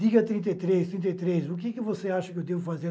Diga trinta e três, trinta e três, o que que você acha que eu devo fazer?